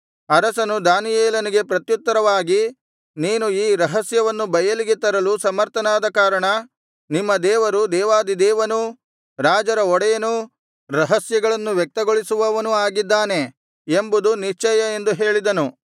ಅರಸನು ದಾನಿಯೇಲನಿಗೆ ಪ್ರತ್ಯುತ್ತರವಾಗಿ ನೀನು ಈ ರಹಸ್ಯವನ್ನು ಬಯಲಿಗೆ ತರಲು ಸಮರ್ಥನಾದ ಕಾರಣ ನಿಮ್ಮ ದೇವರು ದೇವಾಧಿದೇವನೂ ರಾಜರ ಒಡೆಯನೂ ರಹಸ್ಯಗಳನ್ನು ವ್ಯಕ್ತಗೊಳಿಸುವವನೂ ಆಗಿದ್ದಾನೆ ಎಂಬುದು ನಿಶ್ಚಯ ಎಂದು ಹೇಳಿದನು